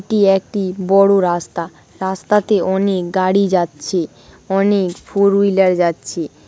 এটি একটি বড় রাস্তা। রাস্তাতে অনেক গাড়ি যাচ্ছে। অনেক ফোর হুইলার যাচ্ছে।